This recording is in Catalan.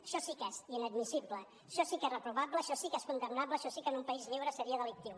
això sí que és inadmissible això sí que és reprovable això sí que és condemnable això sí que en un país lliure seria delictiu